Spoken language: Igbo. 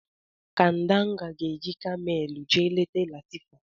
Kadanga ga-eji Kamelu jee leta Latifa.